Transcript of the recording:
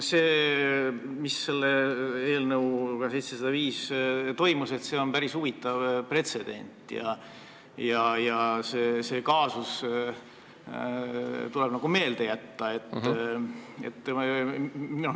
See, mis selle eelnõuga 705 toimus, on päris huvitav pretsedent ja see kaasus tuleb meelde jätta.